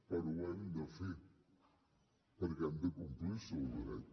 però ho hem de fer perquè hem de complir el seu dret